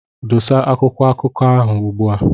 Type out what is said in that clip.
Dosa akwụkwọ akụkọ ahụ ugbua!